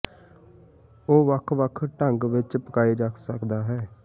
ਉਹ ਵੱਖ ਵੱਖ ਢੰਗ ਵਿੱਚ ਪਕਾਏ ਜਾ ਸਕਦਾ ਹੈ